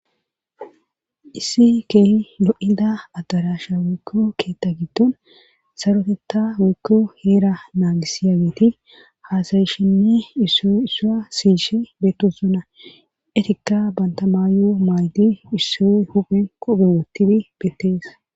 issi keehi lo7ida addarasha woykko keetta giddon sarotetta woykko heera naagisiya geeti haasayishinni isso issuya siyishe beettosona etikka bantamaayo maaydi issoy huphen qophe woottidi bettees